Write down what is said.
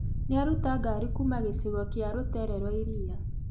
Nĩaruta ngari kuuma gĩcigo kĩa rũteere rwa iria